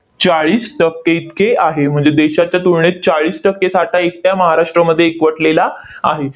चाळीस टक्के इतके आहे. म्हणजे देशाच्या तुलनेत चाळीस टक्के साठा एकट्या महाराष्ट्रामध्ये एकवटलेला आहे.